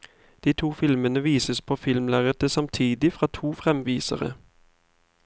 De to filmene vises på filmlerretet samtidig fra to fremvisere.